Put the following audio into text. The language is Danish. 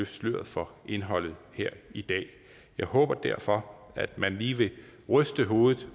sløret for indholdet her i dag jeg håber derfor at man lige vil ryste hovedet